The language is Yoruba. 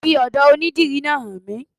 Fi ọ́dọ̀ onidìrí náà hàn mí